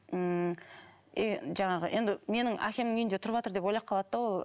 ммм и жаңағы енді менің әкемнің үйінде тұрыватыр деп ойлап қалады да ол